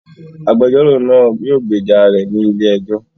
Agbẹjọro naa yóò gbeja rẹ ni ile-ẹjọ